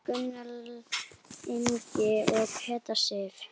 Gunnar Ingi og Petra Sif.